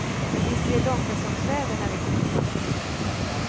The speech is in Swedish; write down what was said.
Och visst är det långkalsongsväder när vi kommer fram.